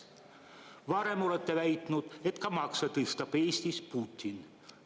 " Varem olete väitnud, et ka makse tõstab Eestis Putin.